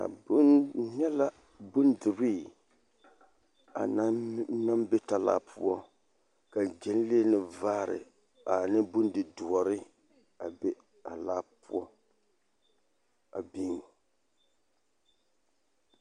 N nyɛ la bondirii a naŋ be talaa poɔ ka ɡyɛnlee ne vaare ane bondidoɔre a be a laa poɔ a biŋ.